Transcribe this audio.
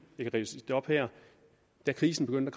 jeg kan ridse det op her da krisen begyndte